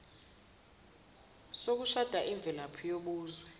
sokushada imvelaphi yobuzwe